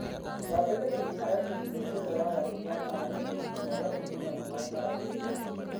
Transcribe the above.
Thambagia tũmĩharatĩ hingo ciothe wagarũrĩra maaĩ, na ũgatũiyũria na maaĩ mararu.